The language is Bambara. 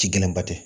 Ci gɛlɛnba tɛ